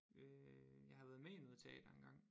Øh jeg har været med i noget teater engang